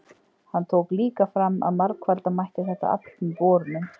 Hann tók líka fram að margfalda mætti þetta afl með borunum.